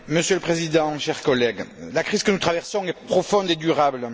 Monsieur le Président, chers collègues, la crise que nous traversons est profonde et durable.